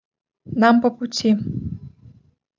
нам по пути